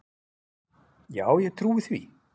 Já, ég trúi því